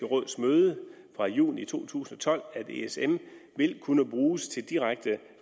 råds møde fra juni to tusind og tolv at esm vil kunne bruges til direkte